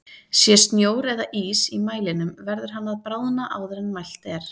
Sé snjór eða ís í mælinum verður hann að bráðna áður en mælt er.